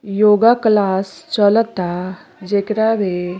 योग क्लास चलअ ता जेकरा मे --